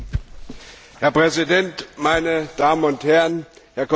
Herr Präsident, meine Damen und Herren, Herr Kommissar!